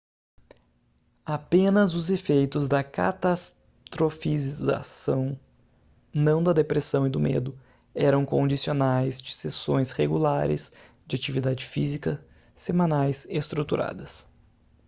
apenas os efeitos da catastrofização não da depressão e do medo eram condicionais de sessões regulares de atividade física semanais estruturadas